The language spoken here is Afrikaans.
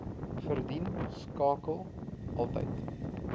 verdien skakel altyd